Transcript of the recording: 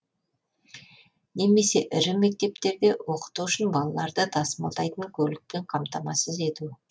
немесе ірі мектептерде оқыту үшін балаларды тасымалдайтын көлікті қамтамасыз ету